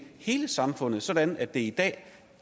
hele samfundet sådan at det i dag